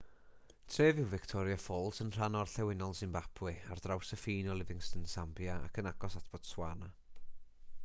tref yw victoria falls yn rhan orllewinol simbabwe ar draws y ffin o livingstone sambia ac yn agos at botswana